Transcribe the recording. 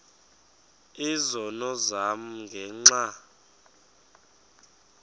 izono zam ngenxa